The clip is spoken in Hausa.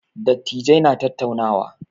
Dattijai na tattaunawa.